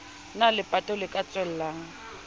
na lepato le ka tswelang